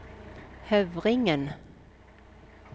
Høvringen